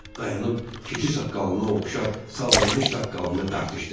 Dayanıb keçi saqqalına oxşar sallanmış saqqalını dartışdırır.